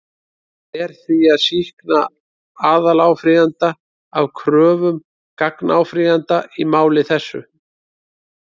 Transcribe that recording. Ber því að sýkna aðaláfrýjanda af kröfum gagnáfrýjanda í máli þessu.